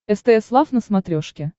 стс лав на смотрешке